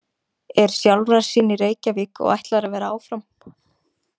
Er sjálfrar sín í Reykjavík og ætlar að vera áfram.